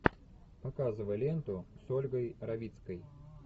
показывай ленту с ольгой равицкой